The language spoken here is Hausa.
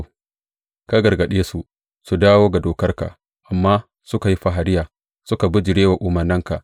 Ka gargaɗe su su dawo ga dokarka, amma suka yi fariya, suka bijire wa umarnanka.